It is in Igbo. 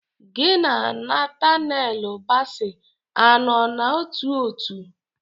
Gi na Natanelu basi a nọ n'ótú òtù?